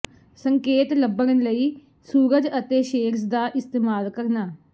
ਸੰਕੇਤ ਲੱਭਣ ਲਈ ਸੂਰਜ ਅਤੇ ਸ਼ੇਡਜ਼ ਦਾ ਇਸਤੇਮਾਲ ਕਰਨਾ